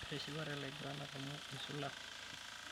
Etishipate laiguranak amu eisula.